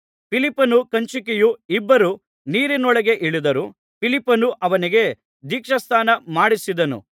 ಫಿಲಿಪ್ಪನು ಕಂಚುಕಿಯು ಇಬ್ಬರೂ ನೀರಿನೊಳಗೆ ಇಳಿದರು ಫಿಲಿಪ್ಪನು ಅವನಿಗೆ ದೀಕ್ಷಾಸ್ನಾನ ಮಾಡಿಸಿದನು